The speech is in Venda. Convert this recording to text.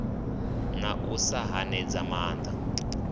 na u sa hanedza maanda